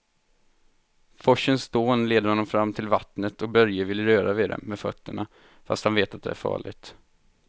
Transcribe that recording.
Forsens dån leder honom fram till vattnet och Börje vill röra vid det med fötterna, fast han vet att det är farligt.